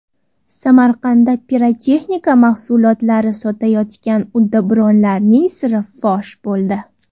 Samarqandda pirotexnika mahsulotlari sotayotgan uddaburonlarning siri fosh bo‘ldi.